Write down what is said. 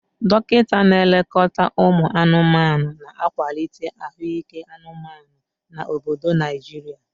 Dokita na-elekọta anụmanụ, na-akwalite ahụike anụmanụ na obodo Naijiria.